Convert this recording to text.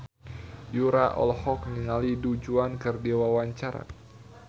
Yura olohok ningali Du Juan keur diwawancara